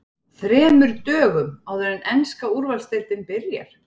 ÞREMUR DÖGUM áður en enska Úrvalsdeildin byrjar?